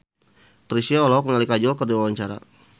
Chrisye olohok ningali Kajol keur diwawancara